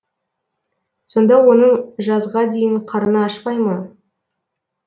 сонда оның жазға дейін қарны ашпай ма